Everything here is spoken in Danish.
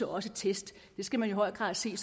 også test det skal man i høj grad se